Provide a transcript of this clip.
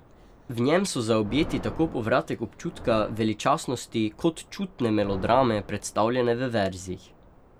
V njem so zaobjeti tako povratek občutka veličastnosti kot čutne melodrame, predstavljene v verzih.